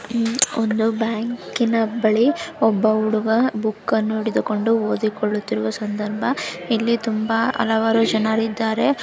ಇಲ್ಲಿ ಒಂದು ಬ್ಯಾಂಕಿನ ಬಳಿ ಒಬ್ಬ ಹುಡುಗ ಬೂಕನ್ನು ಹಿಡಿದುಕೊಂಡು ಓದುಕೊಳ್ಳುತಿರುವ ಸಂದರ್ಭ ಇಲ್ಲಿ ತುಂಬಾ ಹಲವಾರು ಜನರಿದಾರೆ.